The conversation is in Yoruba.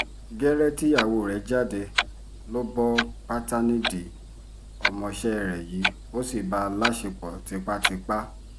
gẹ́rẹ́ tíyàwó rẹ̀ jáde ló bọ́ pátá nídìí ọmọọṣẹ́ rẹ̀ yìí ó sì bá a láṣẹ́pọ̀ tipátipá